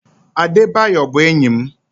Adebayor bụ enyi m.